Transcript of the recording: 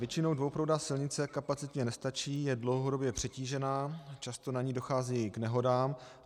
Většinou dvouproudá silnice kapacitně nestačí, je dlouhodobě přetížená, často na ní dochází k nehodám.